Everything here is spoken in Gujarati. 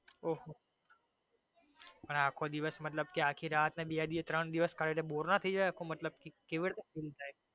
ઓહોહો પણ આખો દિવસ મતલબ કે આખી રાત ને બે દિવસ ને ત્રણ દિવસ કાઢીએ તો bore નો થઈ જાય કેવી રીતે મતલબ પૂરું થાય.